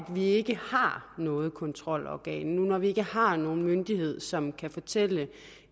vi ikke har noget kontrolorgan nu når vi ikke har nogen myndighed som kan fortælle